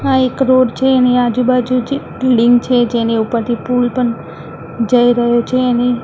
આ એક રોડ છે એની આજુ બાજુથી બિલ્ડીંગ છે જેની ઉપરથી પૂલ પણ જઈ રહ્યો છે અને રસ્તામાં એક--